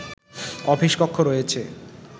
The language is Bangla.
অফিস কক্ষ রয়েছে